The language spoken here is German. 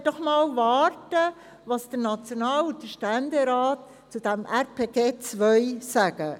Jetzt wollen wir doch einmal warten, was der National- und der Ständerat zu diesem RPG 2 sagen.